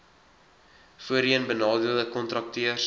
voorheen benadeelde kontrakteurs